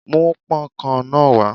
Mú pón kan náà wá.